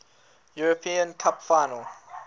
european cup final